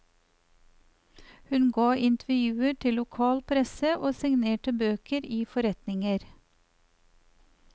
Hun ga intervjuer til lokal presse og signerte bøker i forretninger.